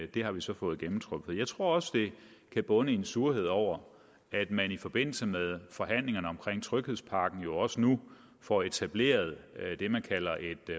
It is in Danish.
det har vi så fået gennemtrumfet jeg tror også det kan bunde i en surhed over at man i forbindelse med forhandlingerne om tryghedspakken jo også nu får etableret det man kalder et